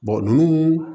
ninnu